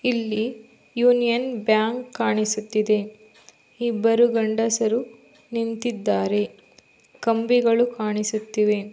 ಇಲ್ಲಿ Union Bank ಕಾಣಿಸುತ್ತಿದೆ ಇಬ್ಬರು ಗಂಡಸರು ನಿಂತಿದ್ದಾರೆ.ಕಂಬಿಗಳು ಕಾಣಿಸುತ್ತಿವೆ .